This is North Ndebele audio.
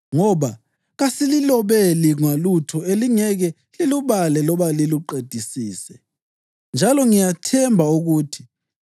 Ngoba kasililobeli ngolutho elingeke lilubale loba liluqedisise. Njalo ngiyathemba ukuthi,